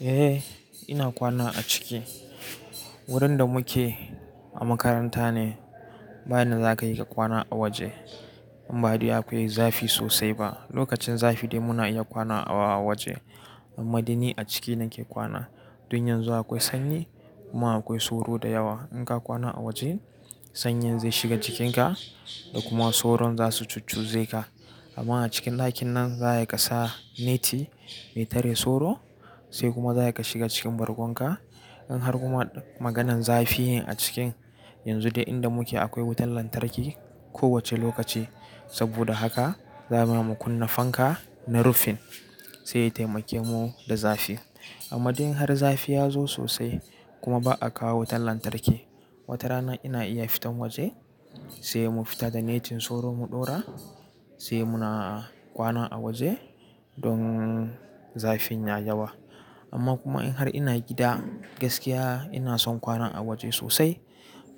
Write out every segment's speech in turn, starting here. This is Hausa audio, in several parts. Eh ina kwana a ciki. Wurin da muke, a makaranta ne, ba yanda za ka yi ka kwana a waje. In ba dai akwai zafi sosai ba. Lokacin zafi dai muna iya kwana a waje. Amma dai ni a ciki nake kwana. Dun yan zu akwai sanyi, kuma akwai sauro da yawa. In ka kwana a waje, sanyin zai shiga jikinka, da kuma soron zasu cuccuze ka. Amma a cikin ɗakin nan, za a iya ka sa neti, mai tare soro, sai kuma za ka shiga cikin bargon ka, in har kuma maganan zafi, a cikin, yanzu dai inda muke akwai wutan lantarki kowace lokaci. Saboda haka, za ma mu kunna fanka, na rufin, sai ya taimake mu da zafi. Amma dai in har zafi ya zo sosai, kuma ba'a kawo wutan lantarki, watarana ina iya fitan waje, sai mu fita da netin soro mu ɗora, sai muna kwana a waje, don zafin ya yawa. Amma kuma in har ina gida gaskiya ina son kwana a waje sosai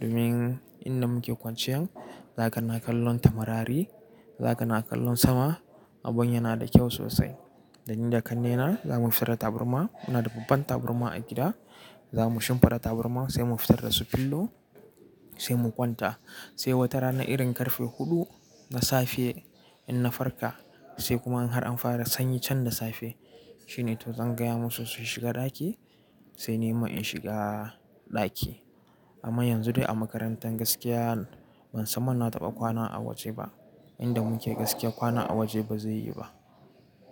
domin inda muke kwanciyan, za ka na kallon tamrari, za ka na kallon sama, abun yana da kyau sosai. Da ni da kannena, zamu fitar da taburma, muna da babban taburma a gida zamu shimfiɗa taburma sai mu fitar da su fillow, sai mu kwanta. Sai wata rana irin ƙarfe huɗu na safe, in na farka, sai kuma in har an fara sanyi can da safe, shine to zan gaya musu su shiga ɗaki, sai ni ma in shiga ɗaki. Amma yanzu dai a makarantan gaskiya, ban tsan man na taɓa kwana a waje ba. Inda muke gaskiya kwana a waje ba zai yi ba.